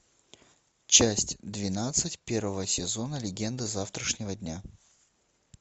часть двенадцать первого сезона легенда завтрашнего дня